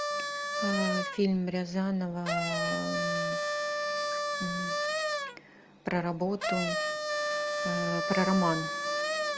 фильм рязанова про работу про роман